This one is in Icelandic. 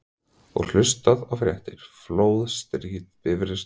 Og hlusta á fréttir: flóð, stríð, bifreið stolið allt sem gerðist í gær.